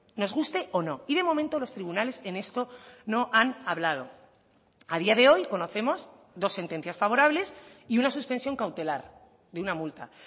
nos guste o no y de momento los tribunales en esto no han hablado a día de hoy conocemos dos sentencias favorables y una suspensión cautelar de una multa